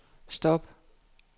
stop